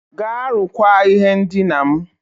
Gaa rụkwaa ihe ndina m.